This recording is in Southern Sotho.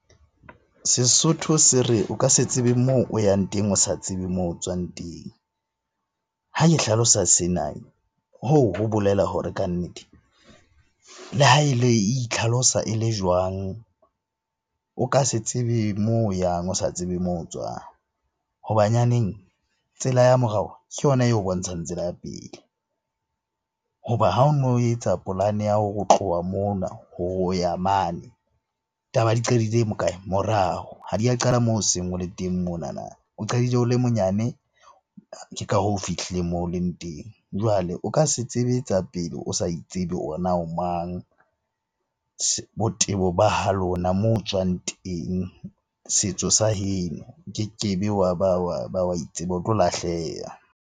Sesotho se re, o ka se tsebe moo o yang teng o sa tsebe moo tswang teng. Ha ke hlalosa sena. Hoo ho bolela hore kannete le ha e le itlhalosa e le jwang? O ka se tsebe mo o yang o sa tsebe moo tswang ho banyaneng tsela ya morao ke yona eo bontshang tsela ya pele. Hoba ha o no etsa polane ya tloha mona ho ya mane, taba ya di qadile hokae? Morao, ha di a qala moo o seng o le teng monana. O qadile o le monyane, ke ka hoo o fihlile moo o leng teng. Jwale o ka se tsebe tsa pele o sa itsebe na o mang? Botebo ba halona, moo o tswang teng, setso sa heno. O keke be wa ba wa itseba, o tlo lahleha.